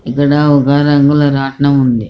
ఇక్కడ ఒక రంగుల రత్నం ఉంది.